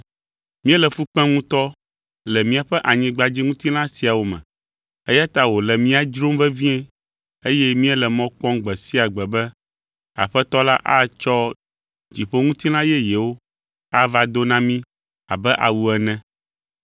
Míele fu kpem ŋutɔ le míaƒe anyigbadziŋutilã siawo me, eya ta wòle mía dzrom vevie, eye míele mɔ kpɔm gbe sia gbe be Aƒetɔ la atsɔ dziƒoŋutilã yeyewo ava do na mí abe awu ene.